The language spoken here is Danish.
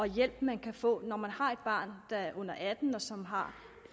hjælp man kan få når man har et barn under atten år som har